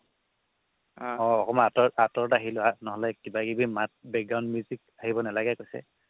অ' অকমাণ আঁতৰত আঁতৰত আহি লোৱা নহ'লে কিবাকিবি মাত থাকিব নালাগে কৈছে